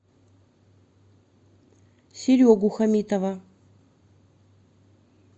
серегу хамитова